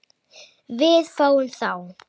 Við fáum þá